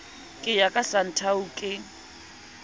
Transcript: ke ya ka santhao ke